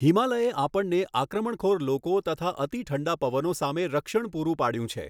હિમાલયે આપણને આક્રમણખોર લોકો તથા અતિઠંડા પવનો સામે રક્ષણ પૂરું પાડ્યું છે.